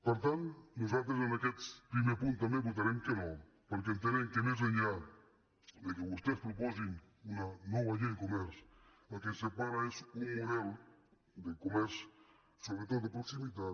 per tant nosaltres en aquest primer punt també vota·rem que no perquè entenem que més enllà que vostès proposin una nova llei de comerç el que ens separa és un model de comerç sobretot de proximitat